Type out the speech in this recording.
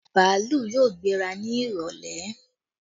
Bàálù yóò gbéra ni ìrọ̀lẹ́